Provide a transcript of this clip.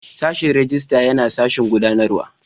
Sashin Rijistar yana sashen gudanarwa.